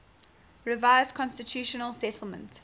revised constitutional settlement